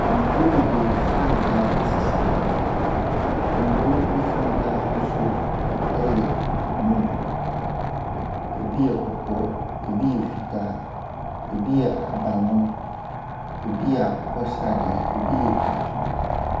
Nkurow bebree frankaa sisi hɔ. Nkurow no bi frankaa ahosuo yɛ blue. Ebi yɛ kɔkɔɔ, ebi yɛ fitaa, ebi yɛ ahabanmono. Ebi yɛ akokɔsradeɛ. Ebi yɛ tuntum.